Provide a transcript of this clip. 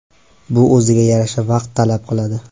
Bu o‘ziga yarasha vaqt talab qiladi.